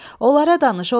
Onlara danış, onlara!